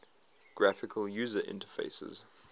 graphical user interfaces